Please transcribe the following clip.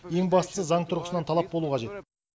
ең бастысы заң тұрғысынан талап болу қажет